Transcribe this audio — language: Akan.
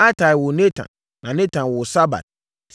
Atai woo Natan na Natan woo Sabad.